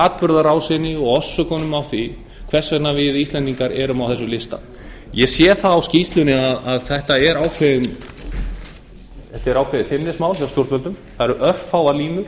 atburðarásinni og orsökunum á því hvers vegna við íslendingar erum á þessum lista ég sé það á skýrslunni að þetta er ákveðið feimnismál hjá stjórnvöldum það eru örfáar línur